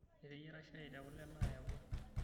Eteyiara shai tekule naayawua.